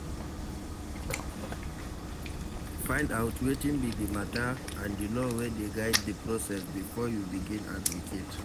Find out wetin be di matter and di law wey dey guide the process before you begin advocate